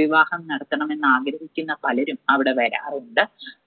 വിവാഹം നടത്തണമെന്ന് ആഗ്രഹിക്കുന്ന പലരും അവിടെ വരാറുണ്ട്.